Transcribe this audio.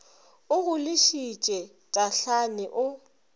o go lešitše tahlane o